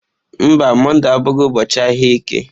Mba, Mọnde abụghị ụbọọchi ahịa eke.